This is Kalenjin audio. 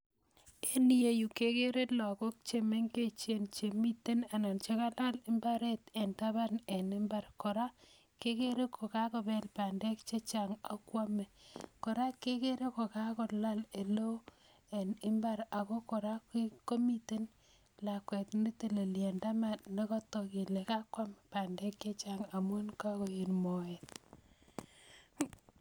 En iyeyu kegere lagok chemengechen chemiten ana chekalal imbaret en taban en imbaar, kora kegere kokakobel bandek chechang' akwome kora kegere kokakolal eleo en imbaar ako kora komiten lakwet neteleli en taban negotok kole kakwam bandek chechang' amun kakoet moet